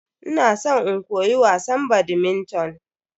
Ina san in koyi wasan "badminton"